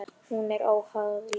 Hún er óháð lífinu.